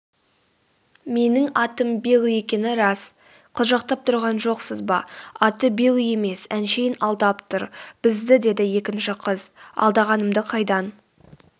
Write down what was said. менің атым билл екені рас.қылжақтап тұрған жоқсыз ба аты билл емес әншейін алдап тұр бізді деді екінші қыз.алдағанымды қайдан